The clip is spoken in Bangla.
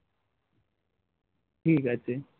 ঠিক আছে